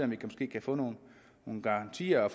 vi måske kan få nogle garantier og